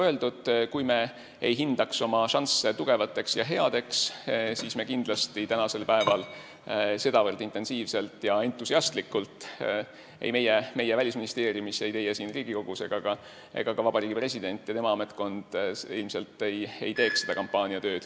Kui me ei hindaks oma šansse tugevateks ja headeks, siis me sedavõrd intensiivselt ja entusialistlikult ei teeks tänasel päeval seda kampaaniatööd – ei meie Välisministeeriumis, ei teie siin Riigikogus ega ilmselt ka Vabariigi President ja tema ametkond.